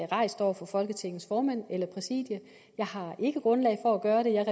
rejst over for folketingets formand eller præsidiet jeg har ikke grundlag for at gøre det jeg